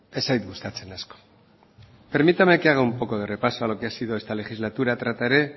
ez zait gustatzen asko permítame que haga un poco de repaso a lo que ha sido esta legislatura trataré